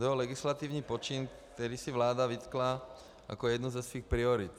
To byl legislativní počin, který si vláda vytkla jako jednu ze svých priorit.